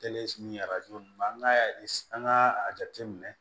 Kɛlen ni ma an ka an ka a jate minɛ